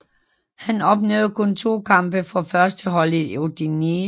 Han opnåede kun 2 kampe for førsteholdet i Udinese